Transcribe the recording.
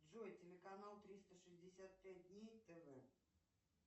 джой телеканал триста шестьдесят пять дней тв